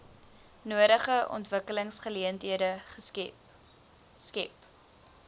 nodige ontwikkelingsgeleenthede skep